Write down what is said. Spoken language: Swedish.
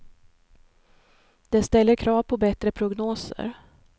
Det ställer krav på bättre prognoser.